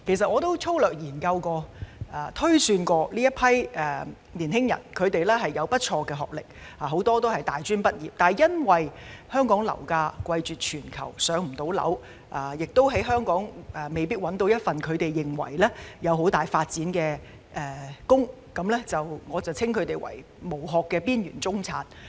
我曾粗略研究，這群青年人有不錯的學歷，很多人是大專畢業，但由於香港樓價貴絕全球，所以未能"上樓"，而在香港亦未必能夠找到有很大發展機會的工作，所以我稱他們為"無殼"的邊緣中產。